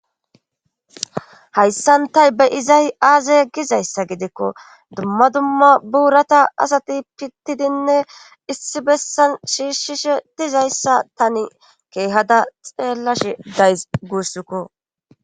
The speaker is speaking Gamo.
hayssantay be iza aaze gizayssa gidikko dumma dumma buurata asati pittidinne issi bessan shiishshishe dizayssa tani keehada xeellashe days guussikko